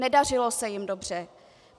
Nedařilo se jim dobře.